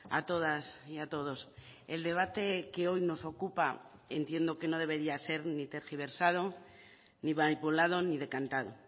a todas y a todos el debate que hoy nos ocupa entiendo que no debería ser ni tergiversado ni manipulado ni decantado